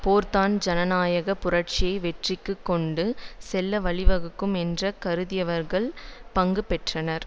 போர்தான் ஜனநாயக புரட்சியை வெற்றிக்கு கொண்டு செல்ல வழிவகுக்கும் என்று கருதியவர்கள் ஸ்தாபிதத்தில் பங்கு பெற்றனர்